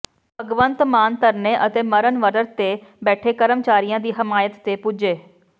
ਭਗਵੰਤ ਮਾਨ ਧਰਨੇ ਅਤੇ ਮਰਨ ਵਰਤ ਤੇ ਬੈਠੇ ਕਰਮਚਾਰੀਆਂ ਦੀ ਹਮਾਇਤ ਤੇ ਪੁੱਜੇ